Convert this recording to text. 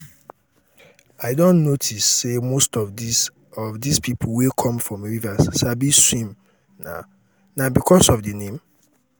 i don notice say most of dis of dis people wey come from rivers sabi swim na because of the name?